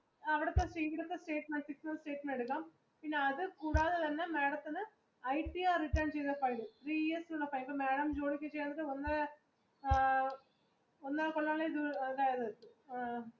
അവിടെത്തെ statement എടുക്കാം പിന്നെ അത് കൂടാതെ തന്നെ madam ത്തിന് ITR return എപ്പോ madam